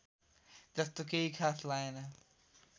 जस्तो केही खास लागेन